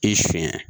I siɲɛ